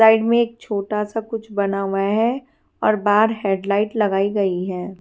Side मे एक छोटा सा कुछ बना हुआ है और बाहर हेड लाइट लगाई गई है।